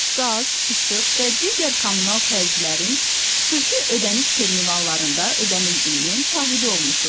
Qaz, işıq və digər kommunal xərclərin xüsusi ödəniş terminallarında ödənildiyinin şahidi olmusunuz.